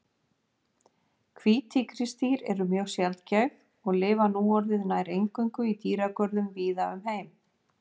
Hvít tígrisdýr eru mjög sjaldgæf og lifa núorðið nær eingöngu í dýragörðum víða um heim.